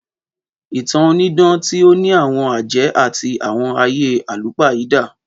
Ìtàn onídán ti o ní àwon àjẹ́ àtí àwon ayé àlùpàídà.